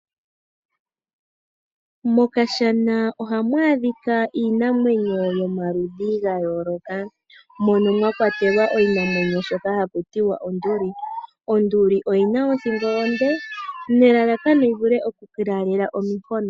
Mokashana ohamu adhika iinamwenyo ya yooloka mono mwa kwatelwa oshinamwenyo shoka haku ti onduli onduli oyina othingo onde opo yi vule okulaalela omafo.